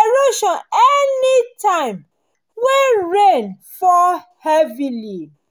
erosion anytime wey rain fall heavily